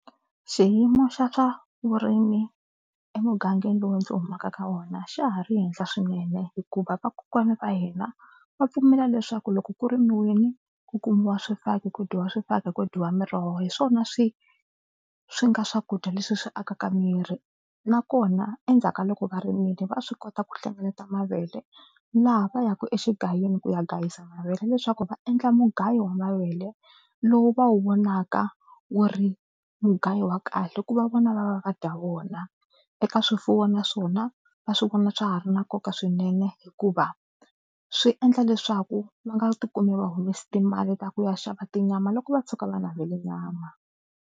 Xiyimo xa swa vurimi emugangeni lowu ndzi humaka ka wona xa ha ri henhla swinene hikuva vakokwana va hina va pfumela leswaku loko ku rimiwini ku kumiwa swifaki, ku dyiwa swifaki, ku dyiwa miroho hi swona swi swi nga swakudya leswi swi akaka miri nakona endzhaku ka loko va rimile va swi kota ku hlengeleta mavele laha va yaka exigayini ku ya gayisa mavele leswaku va endla mugayo wa mavele lowu va wu vonaka wu ri mugayo wa kahle ku va vona va va va dya vona. Eka swifuwo naswona va swi vona swa ha ri na nkoka swinene hikuva swi endla leswaku va nga tikumi va humese timali ta ku ya xava tinyama loko va tshuka va navele nyama.